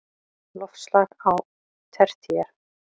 Loftslag á tertíer